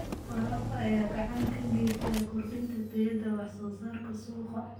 Waraabka ayaa gacan ka geysta kordhinta tayada wax soo saarka suuqa.